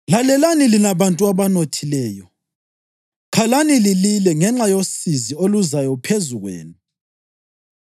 Lalelani lina bantu abanothileyo, khalani lilile ngenxa yosizi oluzayo phezu kwenu.